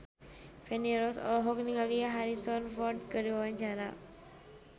Feni Rose olohok ningali Harrison Ford keur diwawancara